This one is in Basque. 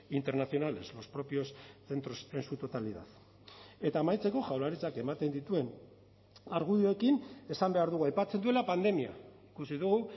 internacionales los propios centros en su totalidad eta amaitzeko jaurlaritzak ematen dituen argudioekin esan behar dugu aipatzen duela pandemia ikusi dugu